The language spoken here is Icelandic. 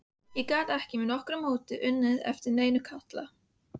Ég gat ekki með nokkru móti munað eftir neinum Kalla.